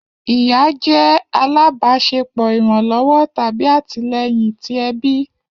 Iya jẹ alabaṣepọ iranlọwọ tabi atilẹyin ti ẹbi.